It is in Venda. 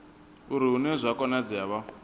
uri hune zwa konadzea vha